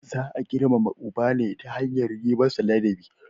Za a girmama uba ne ta hanyar yi masa ladabi.